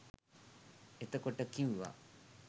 එතකොට කිව්වා